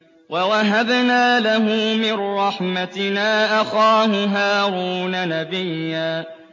وَوَهَبْنَا لَهُ مِن رَّحْمَتِنَا أَخَاهُ هَارُونَ نَبِيًّا